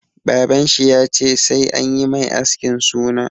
Baban shi ya ce 'Sai anyi mai askin suna'!